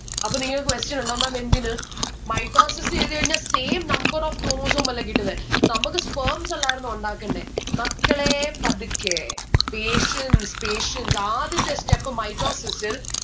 അപ്പൊ നിങ്ങളെ question ഉണ്ടാകും ma'am എന്തിന്? mitosis ചെയ്ത് കഴിഞ്ഞ same number of chromosome അല്ലെ കിട്ടുന്നെ നമ്മക്ക് sperms അല്ലായിരുന്നോ ഉണ്ടാക്കണ്ടേ. മക്കളേ പതുക്കെ patience patience ആദ്യത്തെ step mitosis ൽ